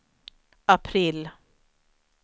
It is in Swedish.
april